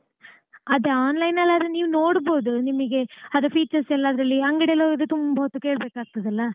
ಅದೇ online ಅಲ್ಲಿ ಆದ್ರೆ ನೀವ್ ನೋಡ್ಬೋದು ನಿಮಿಗೆ ಅದು features ಎಲ್ಲಾ ಅದ್ರಲ್ಲಿ ಅಂಗಡಿಲಿ ಹೋದ್ರೆ ತುಂಬಾ ಹೊತ್ತು ಕೇಳ್ಬೇಕಾಗ್ತದಲ್ಲ.